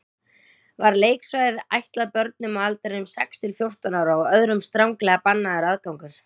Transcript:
Var leiksvæðið ætlað börnum á aldrinum sex til fjórtán ára og öðrum stranglega bannaður aðgangur.